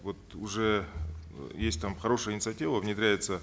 вот уже э есть там хорошая инициатива внедряется